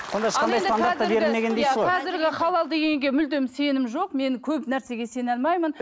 қазіргі халал дегенге мүлдем сенім жоқ мен көп нәрсеге сене алмаймын